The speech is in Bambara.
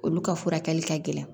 Olu ka furakɛli ka gɛlɛn